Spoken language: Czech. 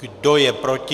Kdo je proti?